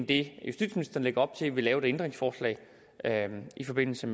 det justitsministeren lægger op til vil fremsætte et ændringsforslag i forbindelse